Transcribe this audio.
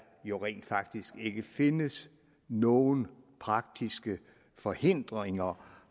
jo rent faktisk ikke findes nogen praktiske forhindringer